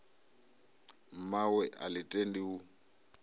mmawe a ḽi tendi u